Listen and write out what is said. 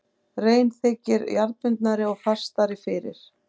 Rein þykir jarðbundnari og fastari fyrir.